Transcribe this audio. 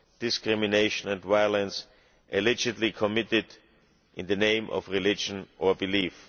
discrimination and violence allegedly committed in the name of religion or belief.